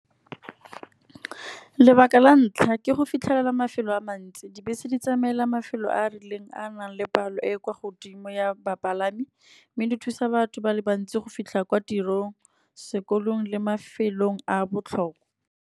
Lebaka la ntlha ke go fitlhelela mafelo a mantsi. Dibese di tsamaela mafelo a a rileng a nang le palo e e kwa godimo ya bapalami. Mme di thusa batho ba le bantsi go fitlha kwa tirong, sekolong le mafelong a a botlhokwa.